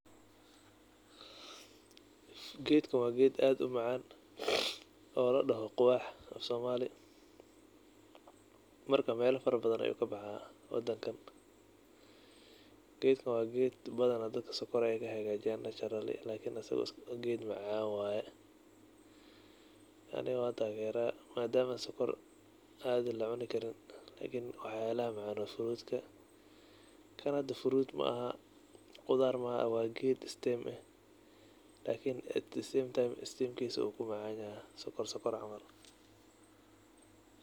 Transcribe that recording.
Geedkan waa geed aad u macaan oo ladhaho quwax afsoomaali. Marka, meelo farabadan ayuu ka baxaa wadankan. Geedkan waa geed badanaa dadka sonkor ay ka hegaajiyaan naturally lakini asiga geed macaan waay. Ani waa taageraa. Maadaama sonkor caadi la cuni karin lakini waxyaalaha la cuno frutka, kani fruit ma'ahan, qudaar ma'aha, waa geed stem eh lakini at the same time stemkiisa uu ku macanyahay sonkor sonkor camal.